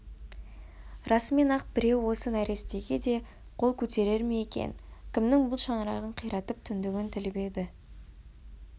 расымен-ақ біреу осы нәрестеге де қол көтерер ме екен кімнің бұл шаңырағын қиратып түндігін тіліп еді